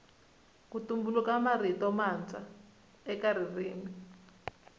ku tumbuluka mirito matswa eka ririmi